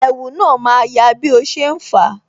Ẹ̀wù na ma ya bí o ṣe ń fa